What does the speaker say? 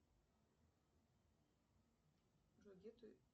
джой где ты